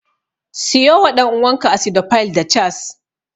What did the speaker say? Siyo wa ɗan'uwanka Acidophile da Chaas.